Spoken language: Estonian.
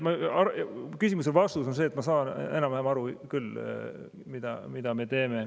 Küsimuse vastus on see, et ma saan enam-vähem aru küll, mida me teeme.